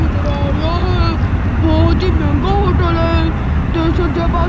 ਨਜ਼ਰ ਆ ਰਿਹਾ ਹੈ ਬਹੁਤ ਹੀ ਮਹਿੰਗਾ ਹੋਟਲ ਹੈ ਤੇ ਸੱਜੇ ਪਾ--